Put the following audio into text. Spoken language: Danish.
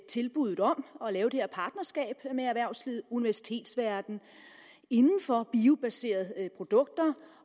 tilbud om at lave det her partnerskab med erhvervslivet og universitetsverdenen inden for biobaserede produkter